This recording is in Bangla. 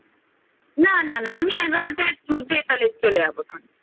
না না আমি এগারোটার মধ্যে তাহলে চলে যাব ক্ষণ